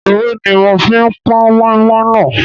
Ewé ní mo fi pọn moinmoin náà.